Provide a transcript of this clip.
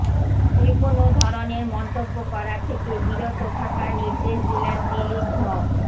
যেকোনও ধরনের মন্তব্য করা থেকে বিরত থাকার নির্দেশ দিলেন দিলীপ ঘ